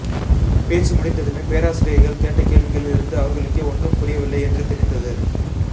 பேச்சு முடிந்ததுமே பேராசிரியைகள் கேட்ட கேள்விகளில் இருந்து அவர்களுக்கே ஒன்றும் புரியவில்லை என்று தெரிந்தது